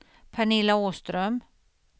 Pernilla Åström